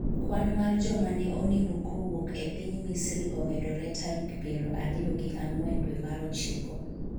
kwan mar joma ne onimo kowuok e piny Misri omedore tarik piero ariyo gi ang'wen dwe mar ochiko